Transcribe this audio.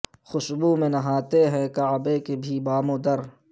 خوشبو میں نہاتے ہیں کعبے کے بھی بام ودر